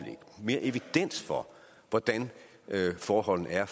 mere evidens for hvordan forholdene er